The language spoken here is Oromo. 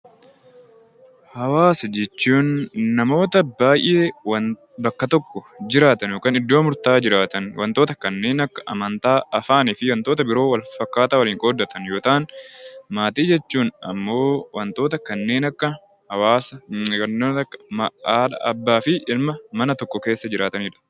Hawaasa jechuun namoota baay'ee bakka tokkoo yookiin iddoo murtaa'e jiraatan wantoota kanneen akka: afaan, amantaa fi wantoota biroo waliin qooddatan yoo ta'an, maatii jechuun immoo wantoota kanneen akka haadha, abbaa fi ilmaan ta'anii mana tokko keessa jiraatanidha.